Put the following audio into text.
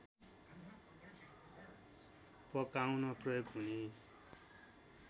पकाउन प्रयोग हुने